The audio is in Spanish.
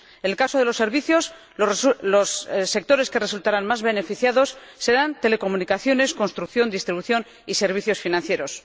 en el caso de los servicios, los sectores que resultarán más beneficiados serán las telecomunicaciones, la construcción, la distribución y los servicios financieros.